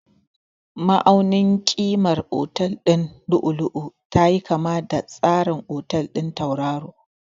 Ma'aunin ƙimar otal ɗin lu'u-lu'u tayi kama da tsarin otal ɗin tauraro.